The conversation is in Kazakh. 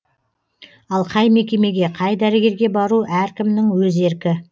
ал қай мекемеге қай дәрігерге бару әркімнің өз еркі